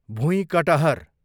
भुइँकटहर